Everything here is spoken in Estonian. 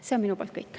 See on minu poolt kõik.